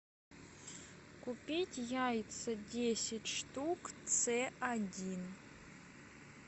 купить яйца десять штук цэ один